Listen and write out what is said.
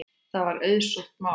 Það var auðsótt mál.